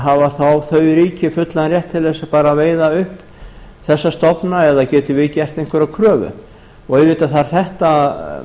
hafa þau ríki þá fullan rétt til þess bara að veiða upp þessa stofna eða getum við gert einhverja kröfu auðvitað þarf þetta